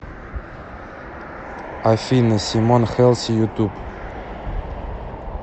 афина симон хелси ютуб